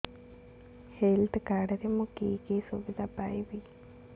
health card ରେ ମୁଁ କି କି ସୁବିଧା ପାଇବି